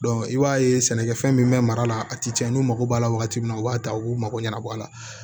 i b'a ye sɛnɛkɛfɛn min bɛ mara la a ti cɛn n'u mago b'a la wagati min na u b'a ta u b'u mago ɲɛnabɔ a la